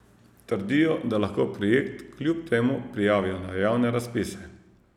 Trdijo, da lahko projekt kljub temu prijavijo na javne razpise.